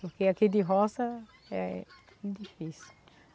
Porque aqui de roça é difícil.